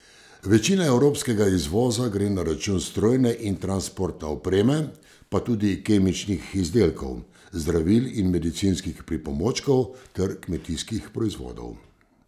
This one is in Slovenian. Večina evropskega izvoza gre na račun strojne in transportne opreme pa tudi kemičnih izdelkov, zdravil in medicinskih pripomočkov ter kmetijskih proizvodov.